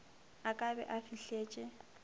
a ka be a fihletše